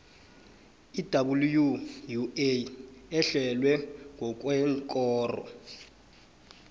iwua ehlelwe ngokweenkoro